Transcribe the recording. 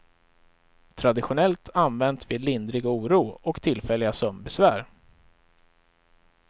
Traditionellt använt vid lindrig oro och tillfälliga sömnbesvär.